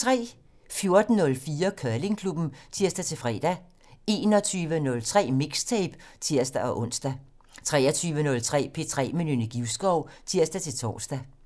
14:04: Curlingklubben (tir-fre) 21:03: Mixtape (tir-ons) 23:03: P3 med Nynne Givskov (tir-tor)